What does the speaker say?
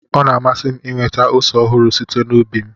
Ọ na-amasị m inweta ose ọhụrụ site n'ubi m